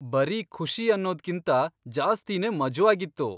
ಬರೀ ಖುಷಿ ಅನ್ನೋದ್ಕಿಂತ ಜಾಸ್ತಿನೇ ಮಜವಾಗಿತ್ತು.